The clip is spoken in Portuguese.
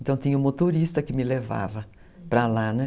Então tinha um motorista que me levava para lá, né?